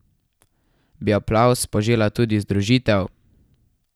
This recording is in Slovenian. Bi aplavz požela tudi združitev?